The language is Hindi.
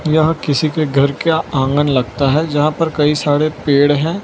यह किसी के घर का आंगन लगता है जहां पर कई सारे पेड़ हैं।